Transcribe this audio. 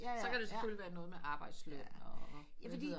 Så kan det selvfølgelig være noget med arbejdsløn og